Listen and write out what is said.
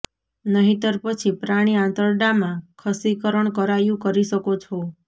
નહિંતર પછી પ્રાણી આંતરડા માં ખસીકરણ કરાયું કરી શકો છો